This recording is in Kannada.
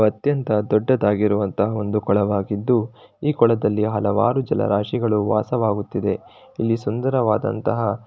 ಇದು ಅತ್ಯಂತ ದೊಡ್ಡದಾಗಿರುವಂತಹ ಒಂದು ಕೊಳ ಆಗಿದ್ದು ಈ ಕೊಳ್ಳದಲ್ಲಿ ಹಲವಾರು ಜಲರಾಶಿಗಳು ವಾಸವಾಗುತ್ತಿದೆ. ಈ ಸುಂದರವಾದಂತಹ --